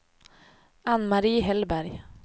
Ann-Mari Hellberg